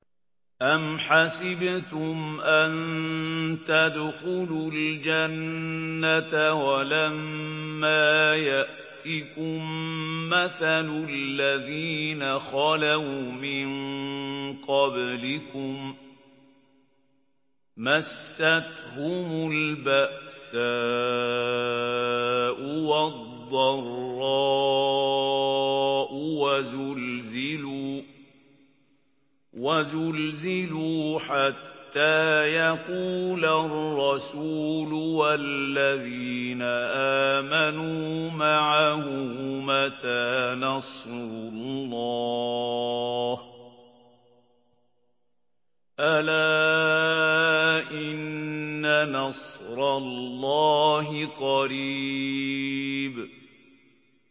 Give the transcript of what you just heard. أَمْ حَسِبْتُمْ أَن تَدْخُلُوا الْجَنَّةَ وَلَمَّا يَأْتِكُم مَّثَلُ الَّذِينَ خَلَوْا مِن قَبْلِكُم ۖ مَّسَّتْهُمُ الْبَأْسَاءُ وَالضَّرَّاءُ وَزُلْزِلُوا حَتَّىٰ يَقُولَ الرَّسُولُ وَالَّذِينَ آمَنُوا مَعَهُ مَتَىٰ نَصْرُ اللَّهِ ۗ أَلَا إِنَّ نَصْرَ اللَّهِ قَرِيبٌ